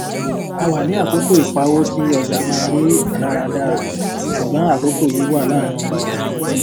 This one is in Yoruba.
a wà ní àkókò ìpàwó tí ọjà máa rí ìmòlára dára ṣùgbọn àkókò yìí wà láàárín ìdìbò